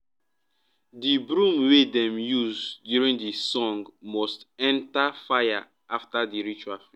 the broom wey dem use during the song must enter fire after the ritual